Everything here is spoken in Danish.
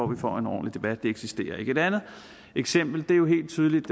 vi får en ordentlig debat men de eksisterer ikke et andet eksempel er jo helt tydeligt